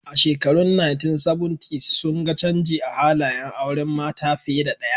A shekarun 1970s sun ga canji a halayen auren mata fiye da ɗaya